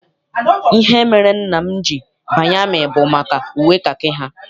Ihe mere nna m ji banye amị bụ maka uwe kakị ha.